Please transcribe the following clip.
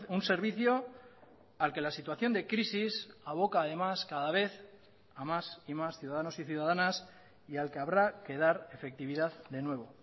un servicio al que la situación de crisis aboca además cada vez a más y más ciudadanos y ciudadanas y al que habrá que dar efectividad de nuevo